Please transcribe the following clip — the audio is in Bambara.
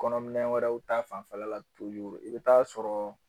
Kɔnɔminɛ wɛrɛw ta fanfɛla la i bɛ taa sɔrɔ